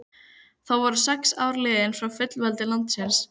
Þá voru sex ár liðin frá fullveldi landsins.